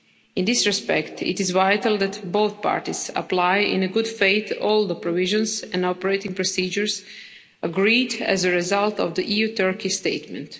In this respect, it is vital that both parties apply in good faith all the provisions and operating procedures agreed as a result of the EU Turkey statement.